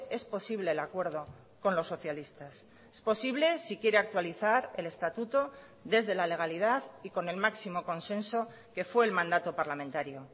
es posible el acuerdo con los socialistas es posible si quiere actualizar el estatuto desde la legalidad y con el máximo consenso que fue el mandato parlamentario